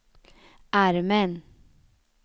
armen